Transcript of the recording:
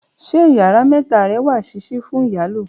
ṣe ìyára meta re wa sisi fún iyalo